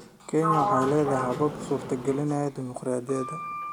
Kenya waxay leedahay habab suurtagelinaya dimuqraadiyadda.